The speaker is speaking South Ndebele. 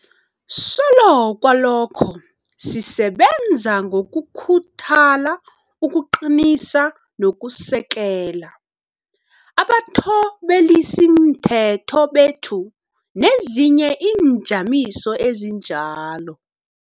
Solo kwalokho, sisebenza ngokukhuthala ukuqinisa nokusekela abathobelisimthetho bethu nezinye iinjamiso ezinjalo.